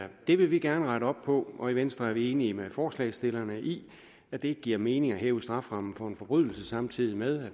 det vil vi gerne rette op på og i venstre er vi enige med forslagsstillerne i at det ikke giver mening at hæve strafferammen for en forbrydelse samtidig med